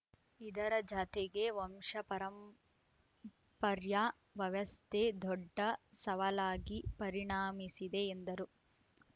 ಇದರ ಜಾತೆಗೆ ವಂಶ ಪಾರಂಪರ್ಯ ವ್ಯವಸ್ಥೆ ದೊಡ್ಡ ಸವಾಲಾಗಿ ಪರಿಣಾಮಿಸಿದೆ ಎಂದರು